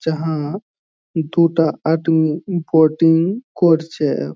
যাহা দুটা আদমি বোটিং করছে ।